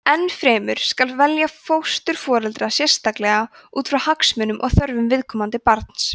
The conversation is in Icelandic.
enn fremur skal velja fósturforeldra sérstaklega út frá hagsmunum og þörfum viðkomandi barns